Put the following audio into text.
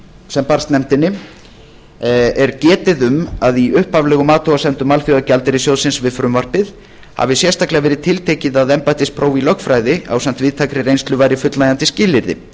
sem barst nefndinni er getið um að í upphaflegum athugasemdum alþjóðagjaldeyrissjóðsins við frumvarpið hafi sérstaklega verið tiltekið að embættispróf í lögfræði ásamt víðtækri reynslu væri fullnægjandi skilyrði